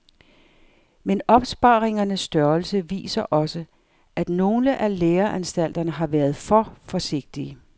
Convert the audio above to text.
Men opsparingernes størrelse viser også, at nogle af læreanstalterne har været for forsigtige.